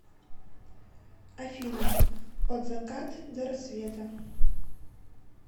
афина от закат до рассвета